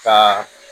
Ka